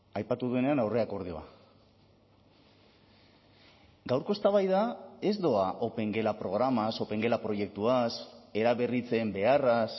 aipatu duenean aurreakordioa gaurko eztabaida ez doa opengela programaz opengela proiektuaz eraberritzen beharraz